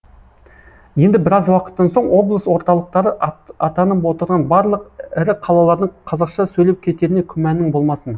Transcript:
енді біраз уақыттан соң облыс орталықтары атанып отырған барлық ірі қалалардың қазақша сөйлеп кетеріне күмәнің болмасын